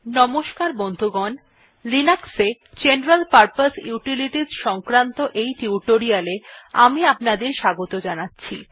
নমস্কার বন্ধুগণ লিনাক্সে জেনারেল পারপোজ ইউটিলিটিস সংক্রান্ত এই টিউটোরিয়ালটিতে আমি আপনাদের স্বাগত জানাচ্ছি